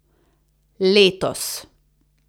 Letos.